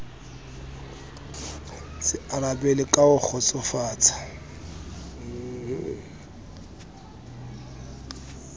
so arabelwe ka ho kgotsofatsa